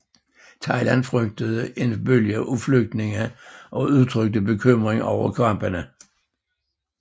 Thailand frygtede en bølge af flygtninge og udtrykte bekymring over kampene